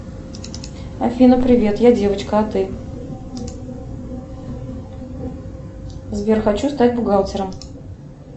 афина привет я девочка а ты сбер хочу стать бухгалтером